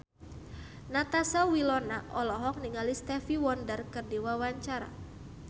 Natasha Wilona olohok ningali Stevie Wonder keur diwawancara